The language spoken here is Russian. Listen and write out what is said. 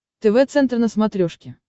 тв центр на смотрешке